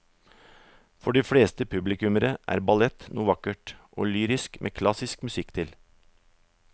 For de fleste publikummere er ballett noe vakkert og lyrisk med klassisk musikk til.